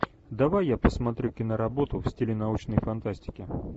давай я посмотрю киноработу в стиле научной фантастики